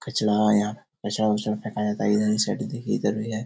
कचरा है यहाँ कचरा-उचरा फेखा जाता है इधर साइड देखिए इधर भी है।